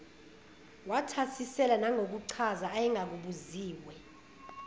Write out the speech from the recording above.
wathasisela nangokuchaza ayengakubuziwe